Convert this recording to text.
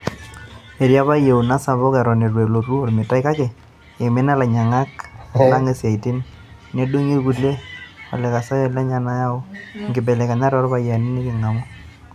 Etii apa yieuna sapuko eton itu elotu olmetai kake "eimini lanyiangak lang isaitin, nedungi ilkulia olekosiayio lenya nayaua nkibelekenyat ooropiyiani nikingamu.